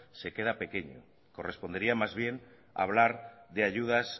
se queda pequeño correspondería más bien hablar de ayudas